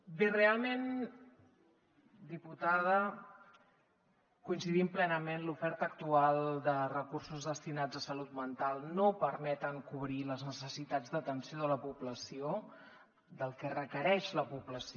bé realment diputada coincidim plenament l’oferta actual de recursos destinats a salut mental no permet cobrir les necessitats d’atenció de la població del que requereix la població